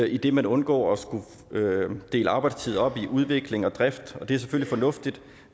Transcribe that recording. idet man undgår at skulle dele arbejdstid op i udvikling og drift og det er selvfølgelig fornuftigt